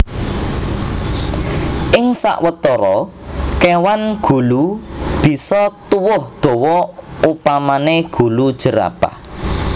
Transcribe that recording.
Ing sawetara kéwan gulu bisa tuwuh dawa upamané gulu jerapah